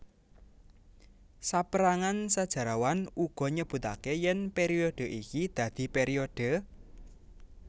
Saperangan sejarawan uga nyebutake yen periode iki dadi periode